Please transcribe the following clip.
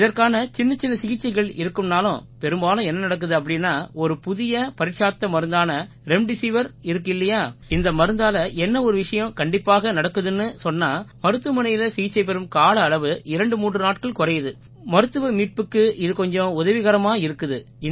இதற்கான சின்னச்சின்ன சிகிச்சைகள் இருக்குன்னாலும் பெரும்பாலும் என்ன நடக்குது அப்படீன்னா ஒரு புதிய பரீட்சார்த்த மருந்தான ரெம்டெசிவிர் இருக்கு இல்லையா இந்த மருந்தால என்ன ஒரு விஷயம் கண்டிப்பாக நடக்குதுன்னு சொன்னா மருத்துவமனையில சிகிச்சை பெறும் கால அளவு 23 நாட்கள் குறையுது மருத்துவரீதியான மீட்புக்கு இது கொஞ்சம் உதவிகரமா இருக்குது